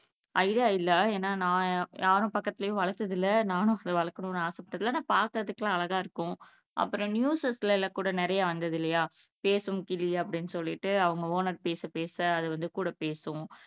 idea இல்லை ஏன்னா நான் யாரும் பக்கத்துலயும் வளர்த்தது இல்லை நானும் அப்படி வளர்க்கனும்னு ஆசைப்பட்டது இல்லை ஆனா பார்க்கிறதுக்கெல்லாம் அழகா இருக்கும் அப்புறம் நியூசஸ்ல எல்லாம் கூட நிறைய வந்துது இல்லையா பேசும் கிளி அப்படின்னு சொல்லிட்டு அவங்க ஓனர் பேச பேச அது வந்து கூட பேசும்